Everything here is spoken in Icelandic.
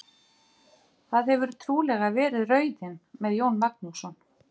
Það hefur trúlega verið raunin með Jón Magnússon.